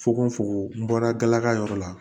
Fokon fokon n bɔra galaka yɔrɔ la